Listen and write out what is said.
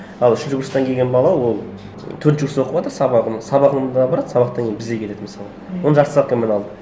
ал үшінші курстан келген бала ол төртінші курста оқыватыр сабағын сабағына барады сабақтан кейін бізге келеді мысалы оны жарты ставкамен алдық